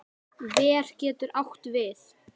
Ver getur átt við